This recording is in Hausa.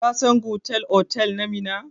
Ka san Gudel otal na Minna?